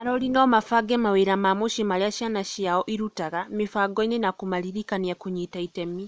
arori no mabange mawĩra ma mũciĩ marĩa ciana ciao irutaga mĩbangoinĩ na kũmaririkania kũnyita itemi.